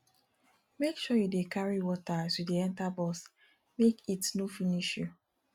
make you dey carry water as you dey enta bus make heat no finish you